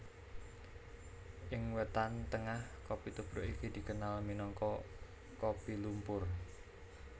Ing Wétan Tengah kopi tubruk iki dikenal minangka kopi lumpur